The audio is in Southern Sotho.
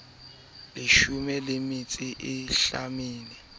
leshome le metso e mehlano